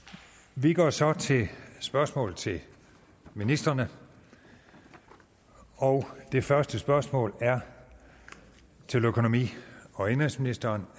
vi går så til spørgsmål til ministrene og det første spørgsmål er til økonomi og indenrigsministeren